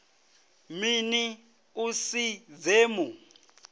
mini u si dze mu